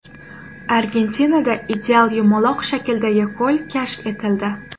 Argentinada ideal yumaloq shakldagi ko‘l kashf etildi.